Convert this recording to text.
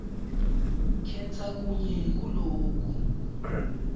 khetsa kunye kuloku